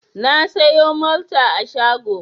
Na sayo Malta a shago.